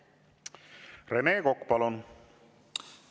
Rene Kokk, palun!